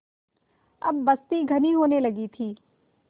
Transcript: अब बस्ती घनी होने लगी थी